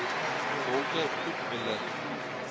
donker goed belig